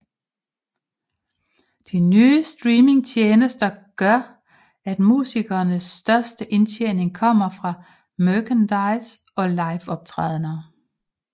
De nye streamingtjenester gør at musikernes største indtjening kommer fra merchandise og liveoptrædener